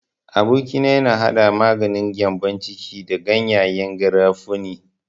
Aboki na yana hada maganin gyambon ciki da gyanyen garafuni.